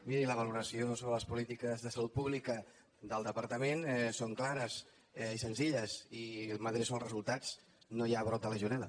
miri la valoració sobre les polítiques de salut pública del departament són clares i senzilles i m’adreço als resultats no hi ha brot de legionel·